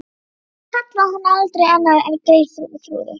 Hann kallaði hana aldrei annað en Geirþrúði.